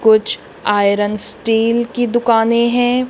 कुछ iron steel की दुकानें हैं।